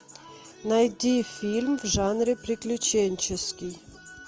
найди фильм в жанре приключенческий